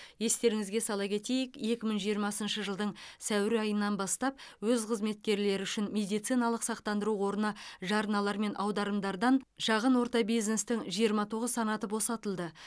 естеріңізге сала кетейік екі мың жиырмасыншы жылдың сәуір айынан бастап өз қызметкерлері үшін медициналық сақтандыру қорына жарналар мен аударымдардан шағын орта бизнестің жиырма тоғыз санаты босатылды